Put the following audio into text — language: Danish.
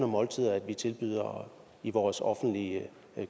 måltider vi tilbyder i vores offentlige